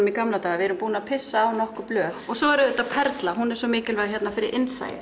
í gamla daga við erum búnar að pissa á nokkur blöð og svo er það auðvitað perlan hún er svo mikilvæg fyrir innsæið